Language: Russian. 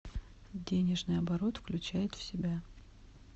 денежный оборот включает в себя